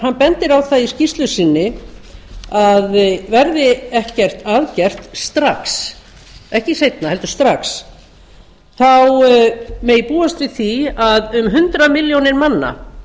hann bendir á það í skýrslu sinni að verði ekkert að gert strax ekki seinna heldur strax megi búast við því að um hundrað milljónir manna